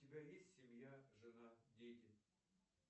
у тебя есть семья жена дети